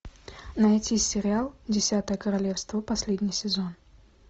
найти сериал десятое королевство последний сезон